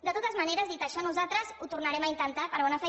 de totes maneres dit això nosaltres ho tornarem a intentar per bona fe